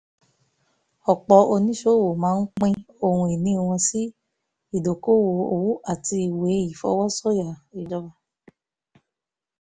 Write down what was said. ọ̀pọ̀ oníṣòwò máa ń pín ohun ìní wọn sí ìdókòwò owó àti ìwé ìfọwọ́sọ̀yà ìjọba